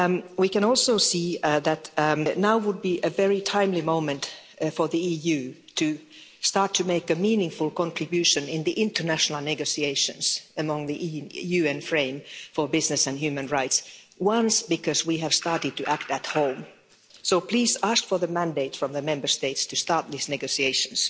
We can also see that now would be a very timely moment for the EU to start to make a meaningful contribution in the international negotiations among the UN frame for business and human rights because we have started to act at home, so please ask for the mandate from the Member States to start these negotiations.